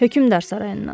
Hökmdar sarayından.